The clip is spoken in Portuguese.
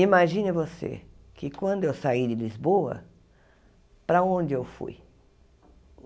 Imagine você, que quando eu saí de Lisboa, para onde eu fui?